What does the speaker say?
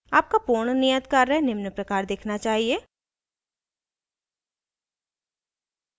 आपका पूर्ण नियत कार्य निम्न प्रकार दिखना चाहिए